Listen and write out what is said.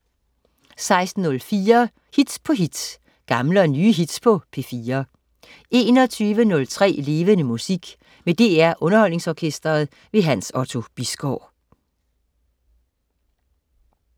16.04 Hit på hit. Gamle og nye hits på P4 21.03 Levende Musik. Med DR Underholdningsorkestret. Hans Otto Bisgaard